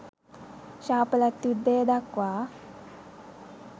ශාපලත් යුද්ධය දක්වා